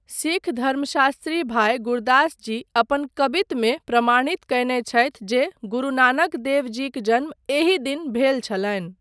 सिख धर्मशास्त्री भाय गुरदास जी अपन 'कबित' मे प्रमाणित कयने छथि जे गुरु नानक देव जीक जन्म एहि दिन भेल छलनि।